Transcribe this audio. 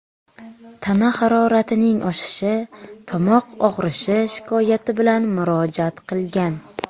tana haroratining oshishi, tomoq og‘rishi shikoyati bilan murojaat qilgan.